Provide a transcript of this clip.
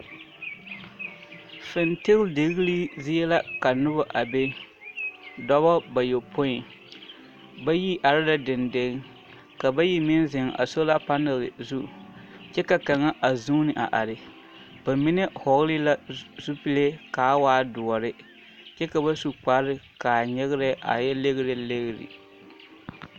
Fintindigilii zie la ka noba a be, dɔbɔ bayɔpoi, bayi are la dendeŋ ka bayi meŋ zeŋ a sola panɛl zu kyɛ ka kaŋa a zuuni a are bamine hɔɔle la zupile k'a waa doɔre kyɛ ka ba zu kpare k'a nyegerɛ a yɛ legilegiri.